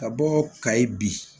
Ka bɔ kayi bi